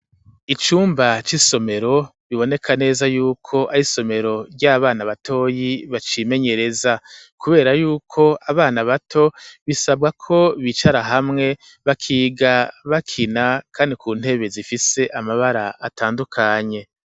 Icumba c'isomero biboneka neza y'uko ari isomero ry'abana batoyi bacimenyereza kubera yuko abana baho bisabwa ko bicara hamwe bakiga bakina kandi ku ntebe zifise amabara atandukanye.